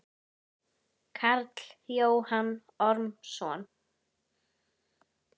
Karl Jóhann Ormsson